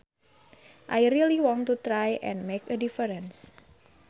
I really want to try and make a difference